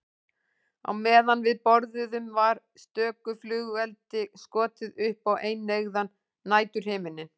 Á meðan við borðuðum var stöku flugeldi skotið upp á eineygðan næturhimininn.